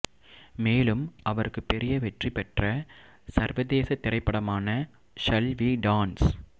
மேலும் அவருக்கு பெரிய வெற்றிபெற்ற சர்வதேசத் திரைப்படமான ஷல் வீ டான்ஸ்